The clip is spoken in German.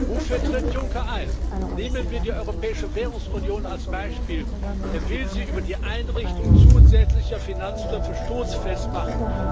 Wofür tritt Juncker ein? Nehmen wir die Europäische Währungsunion als Beispiel Er will sie über die Einrichtung zusätzlicher Finanztöpfe stoßfest machen.